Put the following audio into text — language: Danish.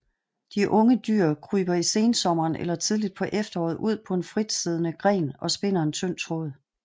De unge dyr kryber i sensommeren eller tidligt på efteråret ud på en fritsiddende gren og spinder en tynd tråd